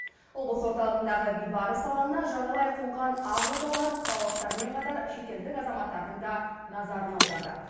облыс орталығындағы бейбарыс алаңына жағалай қонған ақ отаулар қалалықтармен қатар шетелдік азаматтардың да назарын аударды